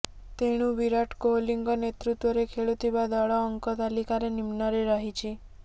ତେଣୁ ବିରାଟ କୋହଲିଙ୍କ ନେତୃତ୍ୱରେ ଖେଳୁଥିବା ଦଳ ଅଙ୍କ ତାଲିକାର ନିମ୍ନରେ ରହିଛି